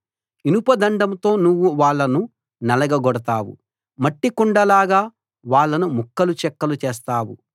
ఇనపదండంతో నువ్వు వాళ్ళను నలగగొడతావు మట్టి కుండలాగా వాళ్ళను ముక్కలు చెక్కలు చేస్తావు